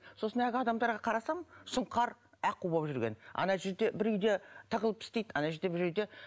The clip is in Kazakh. сосын ақ адамдарға қарасам сұңқар аққу болып жүрген ана жерде бір үйде тығылып істейді ана жерде бір үйде